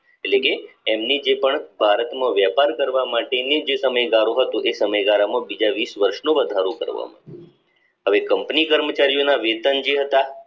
એટલે કે એમની જે પણ ભારતમાં વેપાર કરવા માટેની જે તમે કે તમે જયારે બીજા વર્ષનો વધારો કરવામાં હવે company કર્મચારીઓના વેતન જે હતા